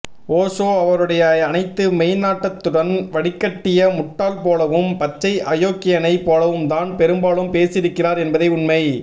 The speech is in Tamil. ஓஷோ அவருடைய அனைத்து மெய்நாட்டத்துடனும் வடிகட்டிய முட்டாள் போலவும் பச்சை அயோக்கியனைப் போலவும்தான் பெரும்பாலும் பேசியிருக்கிறார் என்பதே உண்மை